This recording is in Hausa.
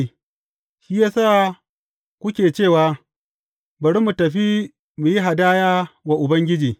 Shi ya sa kuke cewa, Bari mu tafi mu yi hadaya wa Ubangiji.’